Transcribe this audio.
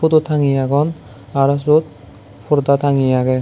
photo thangeye agon aro syot porda tangeye agey.